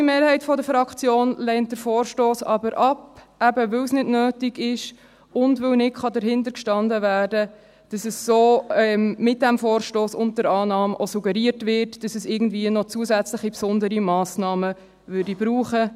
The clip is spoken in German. Die grosse Mehrheit der Fraktion lehnt den Vorstoss aber ab, weil es eben nicht nötig ist und weil nicht dahintergestanden werden kann, dass mit diesem Vorstoss und mit der Annahme auch suggeriert wird, dass es irgendwie noch zusätzliche Massnahmen bräuchte.